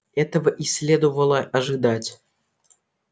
этого и следовало ожидать